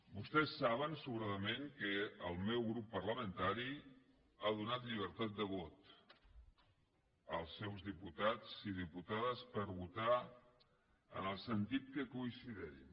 vostès saben sobradament que el meu grup parlamentari ha donat llibertat de vot als seus diputats i diputades per votar en el sentit que considerin